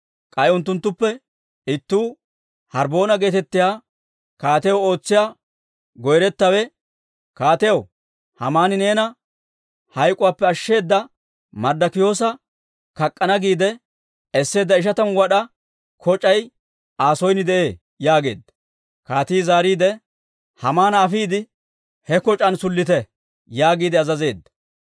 K'ay unttunttuppe ittuu, Harbboona geetettiyaa kaatiyaw ootsiyaa goyrettowe, «Kaatiyaw, Haamani neena hayk'k'uwaappe ashsheeda Marddikiyoosa kak'k'ana giide esseedda ishatamu wad'aa koc'ay Aa son de'ee» yaageedda. Kaatii zaariide, «Haamana afiide, he koc'aan sullite!» yaagiide azazeedda.